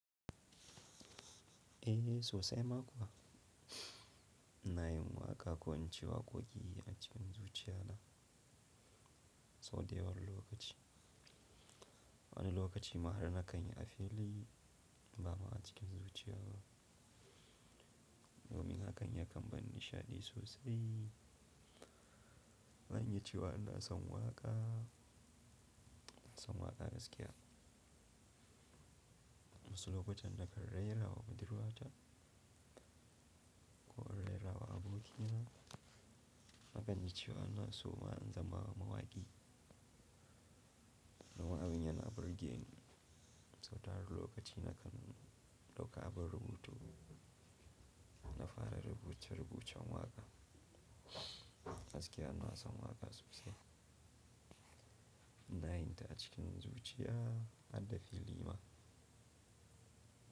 Eh sosai ma kuwa. Ina yin waƙa ko in ce waƙoƙi a cikin zuciya na, sau da yawa wani lokaci. Wani lokaci ma ha nakan yi a fili ba ma a cikin zuciya na. Domin hakan ya kan ban nishadi sosai. Ban iya cewa ina son waƙa, son waƙa gaskiya. Wasu lokutan nakan rerawa budurwa ta, ko in rerawa abokina, akan yi cewa ina so ma in zama mawaƙi. Nima in yana burgen sau tarin lokaci na kan dauka abun rubutu na fara rubuce-rubucen waƙa. Da gaskiya ina son waƙa sosai. Na yi ta cikin zuciya har da fili ma.